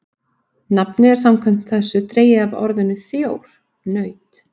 Nafnið er samkvæmt þessu dregið af orðinu þjór, naut.